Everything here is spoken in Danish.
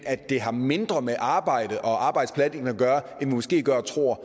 at det har mindre med arbejdet og arbejdspladsen at gøre end vi måske går og tror